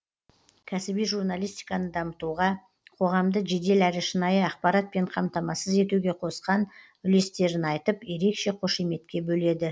кәсіби журналистиканы дамытуға қоғамды жедел әрі шынайы ақпаратпен қамтамасыз етуге қосқан үлестерін айтып ерекше қошеметке бөледі